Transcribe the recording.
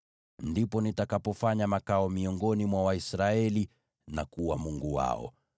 Ndipo nitakapofanya makao miongoni mwa Waisraeli na kuwa Mungu wao.